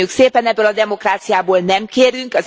Köszönjük szépen, ebből a demokráciából nem kérünk.